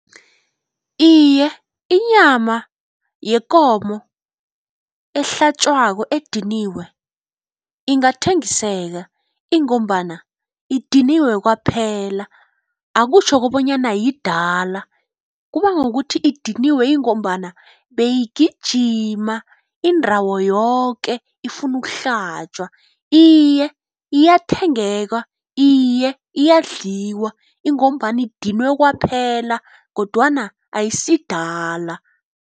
Iye inyama yekomo ehlatjwako ediniwe ingathengiseka ingombana idiniwe kwaphela. Akutjho kobanyana yidala kuba ngokuthi idiniwe ingombana beyigijima indawo yoke ifuna ukuhlatjwa. Iye iyathengeka, iye iyadliwa ingombana idinwe kwaphela kodwana ayisidala.